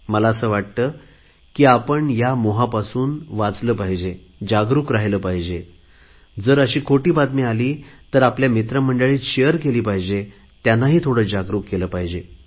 मला असे वाटते की आपण ह्या मोहापासून सावध राहिले पाहिजे जागरुक राहिले पाहिजे जर अशी खोटी बातमी आली तर आपल्या मित्रमंडळात सांगितली पाहिजे त्यांना थोडे जागरुक केले पाहिजे